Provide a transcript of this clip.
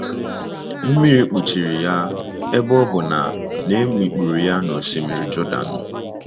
Mmiri kpuchiri ya, ebe ọ bụ na na e mikpuru ya n’Osimiri Jọdan.